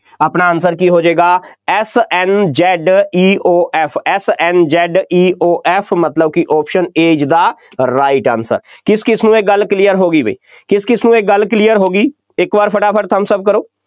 ਆਪਣਾ answer ਕੀ ਹੋ ਜਾਏਗਾ S N Z E O F S N Z E O F ਮਤਲਬ ਕਿ option A is the right answer ਕਿਸ ਕਿਸ ਨੂੰ ਇਹ ਗੱਲ clear ਹੋ ਗਈ ਬਈ, ਕਿਸ ਕਿਸ ਨੂੰ ਇਹ ਗੱਲ clear ਹੋ ਗਈ, ਇੱਕ ਵਾਰ ਫਟਾ ਫਟਾ thumbs up ਕਰੋ।